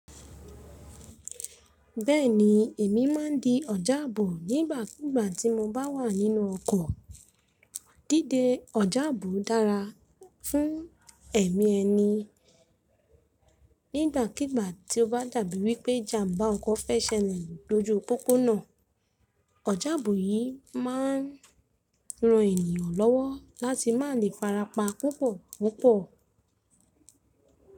Bẹ́ẹ̀ni, èmi máa ń di ọ̀jábó nígbàkigbà tí mo bá wà nínú ọkọ̀. Díde ọ̀jábó dára fún ẹ̀mí ẹni. Nígbàkigbà tí ó bá dàbí wí pé jàmbá ọkọ̀ fẹ́ ṣẹlẹ̀ loju póponà, ọ̀jábó yìí máa ń ran ènìyàn lọ́wọ́ láti má lè farapa púpọ̀púpọ̀.